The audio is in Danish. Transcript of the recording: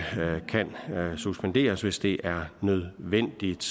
kan suspenderes hvis det er nødvendigt